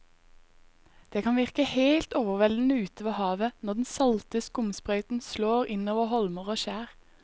Det kan virke helt overveldende ute ved havet når den salte skumsprøyten slår innover holmer og skjær.